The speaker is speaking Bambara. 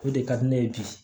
O de ka di ne ye bi